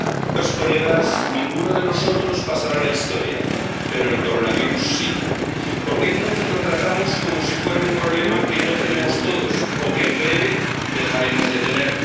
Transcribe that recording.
Señor presidente, señorías, ninguno de nosotros pasará a la historia, pero el coronavirus sí. ¿Por qué entonces lo tratamos como si fuera un problema que no tenemos todos o que, en breve, dejaremos de tener?